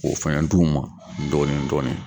O fɛnɛ dugu ma dɔɔnin dɔɔnin